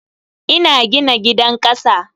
Ina gina gidan kasa.